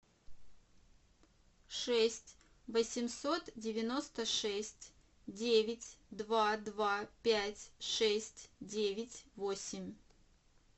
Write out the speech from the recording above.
шесть восемьсот девяносто шесть девять два два пять шесть девять восемь